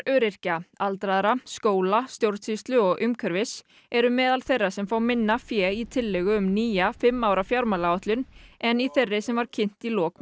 öryrkja aldraðra skóla stjórnsýslu og umhverfis eru meðal þeirra sem fá minna fé í tillögu um nýja fimm ára fjármálaáætlun en í þeirri sem var kynnt í lok